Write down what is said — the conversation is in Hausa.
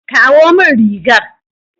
Kawo min rigar.